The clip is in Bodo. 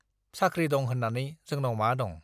साख्रि दं होन्नानै जोनाव मा दं?